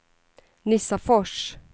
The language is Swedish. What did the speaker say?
Nissafors